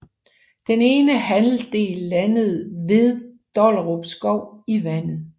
Den ene halvdel landede vet Dollerupskov i vandet